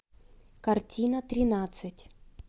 картина тринадцать